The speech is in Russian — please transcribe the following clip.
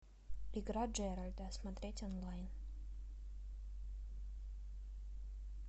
игра джеральда смотреть онлайн